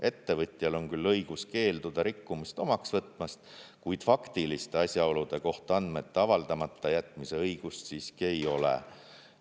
Ettevõtjal on küll õigus keelduda rikkumist omaks võtmast, kuid faktiliste asjaolude kohta andmete avaldamata jätmise õigust siiski ei ole.